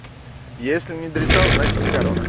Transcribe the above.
если не дристал значит не корона